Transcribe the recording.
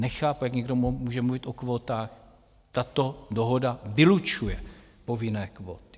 Nechápu, jak někdo může mluvit o kvótách, tato dohoda vylučuje povinné kvóty.